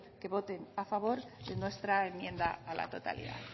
que voten a favor de nuestra enmienda a la totalidad